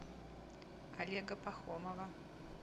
олега пахомова